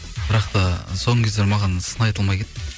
бірақ та соңғы кездері маған сын айтылмай кетті